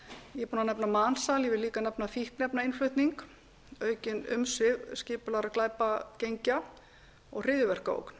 landi ég er búin að nefna mansal ég vil líka nefna fíkniefnainnflutning aukin umsvif skipulagðra glæpagengja og hryðjuverkaógn